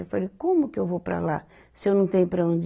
Eu falei, como que eu vou para lá se eu não tenho para onde